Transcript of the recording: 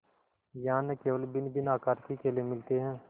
यहाँ न केवल भिन्नभिन्न आकार के केले मिलते हैं